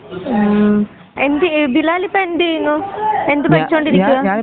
ആ എന്ത് ബിലാലിപ്പോൾ എന്തു ചെയ്യുന്നു എന്തു പഠിച്ചോണ്ട് ഇരിക്കുവാ.